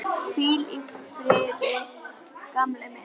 Hvíl í friði, gamli minn.